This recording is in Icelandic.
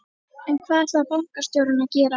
En hvað ætlar bankastjórinn að gera?